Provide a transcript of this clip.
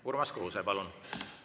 Urmas Kruuse, palun!